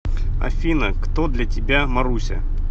афина кто для тебя маруся